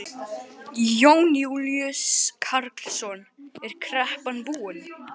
Jón Júlíus Karlsson: Er kreppan búin?